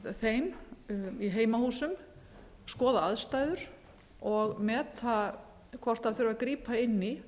þeim í heimahúsum skoða aðstæður og meta hvort þurfi að grípa inn í